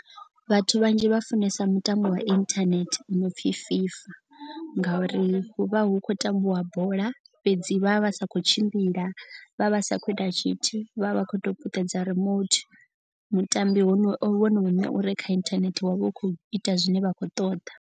Vhathu vhanzhi vha funesa mutambo wa internet u no pfi FIFA. Ngauri hu vha hu khou tambiwa bola fhedzi vha vha vha sa khou tshimbila vha vha sa khou ita tshithu vha vha vha kho to puṱedza remote. Mutambi wono vhono uṋe ure kha inthanethe wa vha u khou ita zwine vha khou ṱoḓa.